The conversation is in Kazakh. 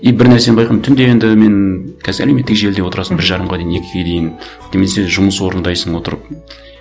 и бір нәрсені байқадым түнде енді мен қазір әлеуметтік желіде отырасың бір жарымға дейін екіге дейін немесе жұмыс орындайсың отырып